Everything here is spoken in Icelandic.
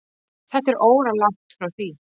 Þetta er óralangt frá því.